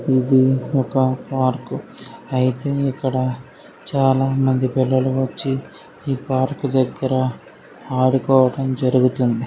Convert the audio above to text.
ఇది ఒక పార్క్ అయితే ఇక్కడ చాలామంది పిల్లలు వచ్చి ఈ పార్క్ దగ్గర ఆడుకోవడం జరుగుతుంది.